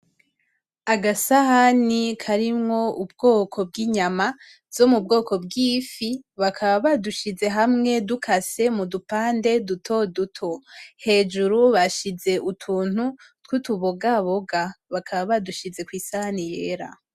Agasahani karimwo ubwoko bw'inyamwa, zomubwoko bw'ifi, bakaba badushize hamwe dukase mudupande dutoduto, hejuru bashize utuntu twutu bogaboga, bakaba badushize kw'isahani yera.